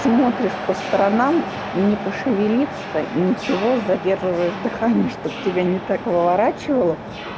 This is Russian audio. смотришь по сторонам не пошевелится ничего задерживаешь дыхание чтобы тебя не так выворачивало